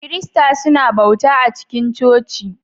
Kiristoci suna bauta a cikin coci